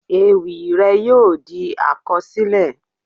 Ewì rẹ̀ yóò di àkọsílẹ̀.